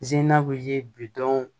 bi don